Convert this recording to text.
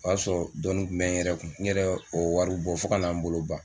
O y'a sɔrɔ dɔɔnin kun bɛ n yɛrɛ kun n yɛrɛ ye o wari bɔ fo ka na n bolo ban.